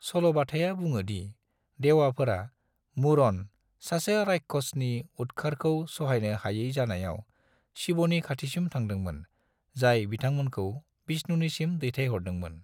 सल'बाथाया बुङो दि देवाफोरा, 'मुरन' - सासे रायक्षसनि उदखारखौ सहायनो हाय़ै जानायाव, शिवनि खाथिसिम थांदोंमोन, जाय बिथांमोनखौ विष्णुनिसिम दैथायहरदोंमोन।